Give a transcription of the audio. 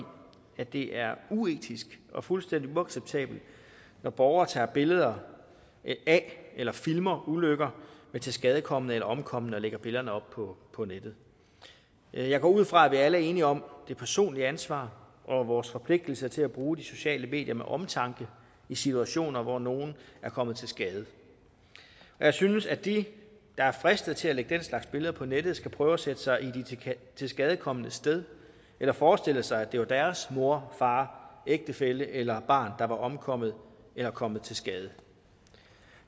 at det er uetisk og fuldstændig uacceptabelt når borgere tager billeder af eller filmer ulykker med tilskadekomne eller omkomne og lægger billederne op på nettet jeg går ud fra at vi alle er enige om det personlige ansvar og vores forpligtelse til at bruge de sociale medier med omtanke i situationer hvor nogle er kommet til skade jeg synes at de der er fristet til at lægge den slags billeder på nettet skal prøve at sætte sig i de tilskadekomnes sted eller forestille sig at det var deres mor far ægtefælle eller barn der var omkommet eller kommet til skade